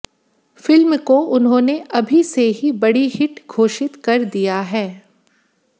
film को उन्होंने अभी से ही बड़ी हिट घोषित कर दिया है